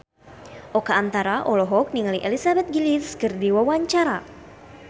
Oka Antara olohok ningali Elizabeth Gillies keur diwawancara